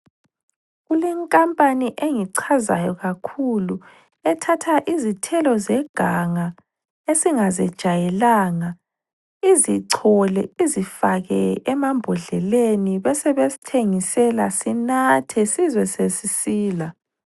Kulenkampani engicazayo kakhulu ethatha izithelo zeganga esingazejayelanga .Izicole ,izifake emambodleleni ,besebesithengisela .Sinathe sizwe sesisila.